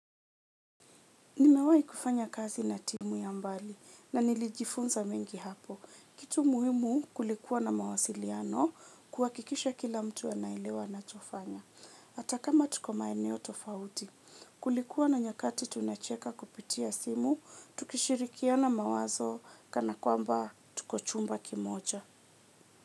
Nimewahi kufanya kazi na timu ya mbali na nilijifunza mengi hapo. Kitu muhimu kulikuwa na mawasiliano kuhakikisha kila mtu anaelewa anachofanya. Hata kama tuko maeneo tofauti, kulikuwa na nyakati tunacheka kupitia simu, tukishirikiana mawazo kana kwamba tuko chumba kimoja.